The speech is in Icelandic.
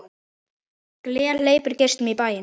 Gler hleypir geislum í bæinn.